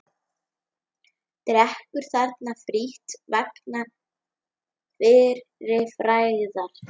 Drekkur þarna frítt vegna fyrri frægðar.